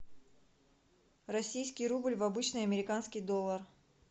российский рубль в обычный американский доллар